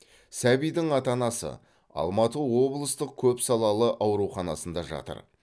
сәбидің ата анасы алматы облыстық көпсалалы ауруханасында жатыр